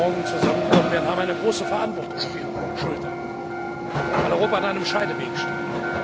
morgen zusammenkommen werden, tragen eine große Verantwortung auf ihren Schultern, weil Europa an einem Scheideweg steht.